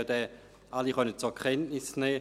Sie alle konnten diesen zur Kenntnis nehmen.